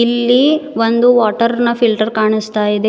ಇಲ್ಲಿ ಒಂದು ವಾಟರ್ ನ ಫಿಲ್ಟರ್ ಕಾಣಿಸ್ತಾ ಇದೆ.